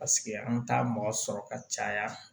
Paseke an t'a mɔgɔ sɔrɔ ka caya